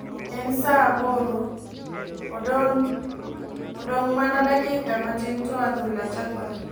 En saa aboro ,odonh mana dakika matin to adhula chakore.